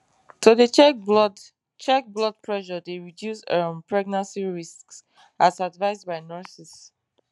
to dey check blood check blood pressure dey reduce um pregnancy risks as advised by nurses